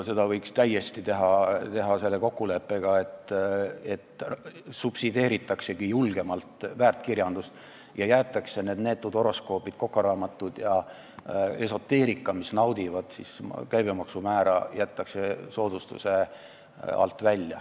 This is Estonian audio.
Seda võiks täiesti teha selle kokkuleppega, et subsideeritaksegi julgemalt väärtkirjandust ja jäetakse need neetud horoskoobid, kokaraamatud ja esoteerika, mis naudivad soodsat käibemaksumäära, soodustuse alt välja.